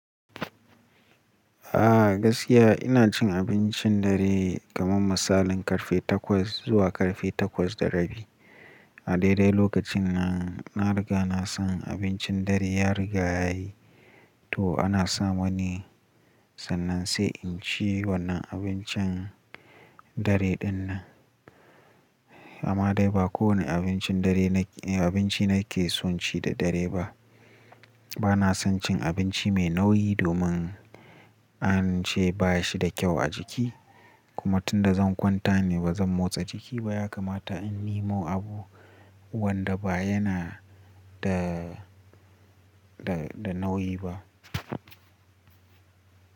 A gaskiya ina cin abincin dare kamar misalin karfe takwas zuwa karfe takwas da rabi. A daidai lokacin nan na riga na san abincin dare ya riga yayi to ana sa mani sannan sai in ci wannan abincin dare ɗinnan. Amma dai ba kowane abinci nake son ci da dare ba. Bana son cin abinci mai nauyi domin an ce baya shi da kyau a jiki. Kuma tunda zan kwanta ni bazan motsa jiki ba ya kamata in nimo abu wanda baya yana da, da, da nauyi ba.